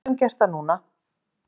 Við getum gert það núna.